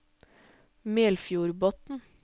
Melfjordbotn